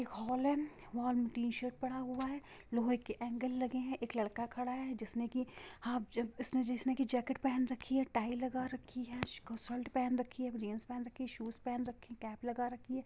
एक हॉल है वह पे टी-शर्ट पड़ा हूआ है| लोहे के अंगेल लगे है | एक लड़का खड़ा है जिसने की हाफ जिन्स जिसने की जैकिट पेहेन रखी हिय टाइ लगा रखी है| शर्ट पेहेन रखी है जीन्स पेहेन रखी है शूज पेहेन रखी है केप लगा रखी है।